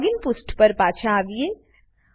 login પુષ્ઠ પર પાછા આવીએ